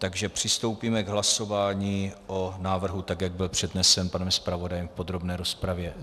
Takže přistoupíme k hlasování o návrhu tak, jak byl přednesen panem zpravodajem v podrobné rozpravě.